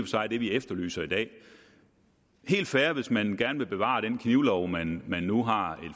sig det vi efterlyser i dag helt fair hvis man gerne vil bevare den knivlov man man nu har